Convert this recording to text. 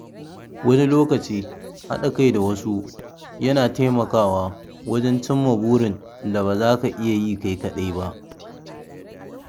Wani lokaci haɗa kai da wasu yana taimakawa wajen cimma burin da ba za ka iya kai kaɗai ba.